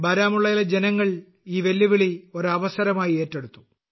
ബാരാമുള്ളയിലെ ജനങ്ങൾ ഈ വെല്ലുവിളി ഒരു അവസരമായി ഏറ്റെടുത്തു